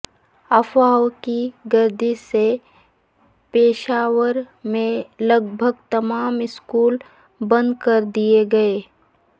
افواہوں کی گردش سے پشاور میں لگ بھگ تمام سکول بند کر دیے گئے